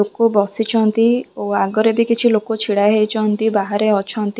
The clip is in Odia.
ଲୋକ ବସିଛନ୍ତି ଓ ଆଗରେ ବି କିଛି ଲୋକ ଛିଡ଼ା ହୋଇଛନ୍ତି ବାହାରେ ଅଛନ୍ତି।